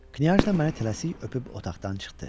Knya məni tələsik öpüb otaqdan çıxdı.